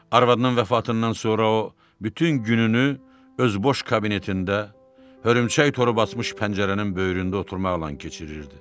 Arvadının vəfatından sonra o bütün gününü öz boş kabinetində, hörümçək tor basmış pəncərənin böyründə oturmaqla keçirirdi.